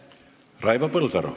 Raivo Põldaru.